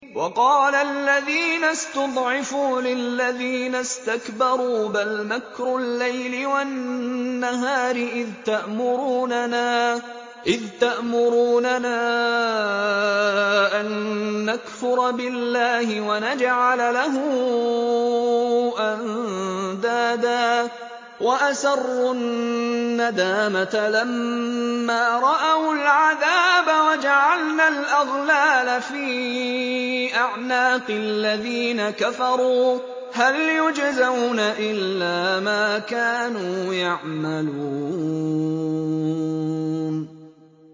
وَقَالَ الَّذِينَ اسْتُضْعِفُوا لِلَّذِينَ اسْتَكْبَرُوا بَلْ مَكْرُ اللَّيْلِ وَالنَّهَارِ إِذْ تَأْمُرُونَنَا أَن نَّكْفُرَ بِاللَّهِ وَنَجْعَلَ لَهُ أَندَادًا ۚ وَأَسَرُّوا النَّدَامَةَ لَمَّا رَأَوُا الْعَذَابَ وَجَعَلْنَا الْأَغْلَالَ فِي أَعْنَاقِ الَّذِينَ كَفَرُوا ۚ هَلْ يُجْزَوْنَ إِلَّا مَا كَانُوا يَعْمَلُونَ